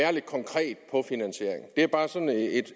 er bare sådan